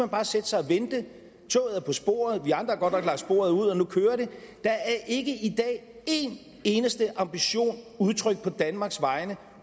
bare sætte sig og vente toget er på sporet vi andre har godt nok lagt sporet ud og nu kører det der er ikke i dag én eneste ambition udtrykt på danmarks vegne